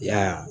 Y'a ye